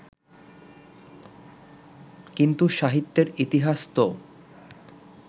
কিন্তু সাহিত্যের ইতিহাস তো